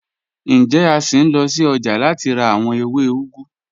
Njẹ̀, a ṣín lọ sí ọ́jà láti rà awọn èwé úgù?